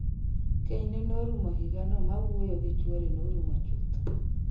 Kenyne norumo higano ma wuoyo gi chwore norumo chuth